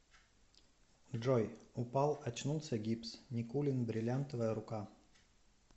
джой упал очнулся гипс никулин бриллиантовая рука